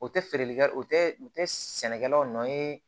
O tɛ feereli kɛ o tɛ u tɛ sɛnɛkɛlaw nɔ ye